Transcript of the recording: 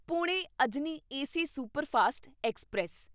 Pune Ajni AC superfast express